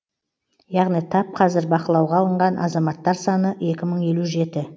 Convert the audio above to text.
яғни тап қазір бақылауға алынған азаматтар саны екі мың елу жеті